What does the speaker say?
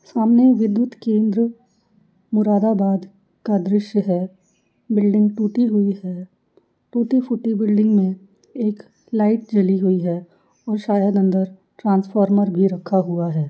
सामने विदुत केंध्र मुरादाबाद का दृश्य है बिलिंग टूटी हुई है। टूटी-फूटी बिलिंग में एक लाईट जली हुई है और शायद अंदर ट्रांसफोर्मर भी रखा हुआ है।